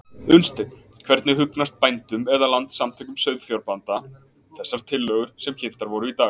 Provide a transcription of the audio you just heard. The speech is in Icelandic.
Unnsteinn, hvernig hugnast bændum eða Landssamtökum sauðfjárbænda þessar tillögur sem kynntar voru í dag?